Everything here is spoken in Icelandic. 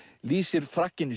lýsir Frakkinn